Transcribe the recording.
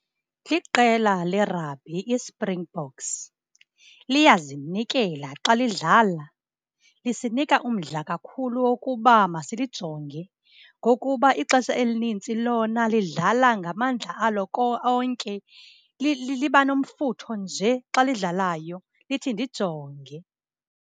Liqela lerabhi iSpringboks. Liyazinikela xa lidlala, lisinika umdla kakhulu wokuba masilijonge ngokuba ixesha elinintsi lona lidlala ngamandla alo onke. Liba nomfutho nje xa lidlalayo, lithi ndijonge.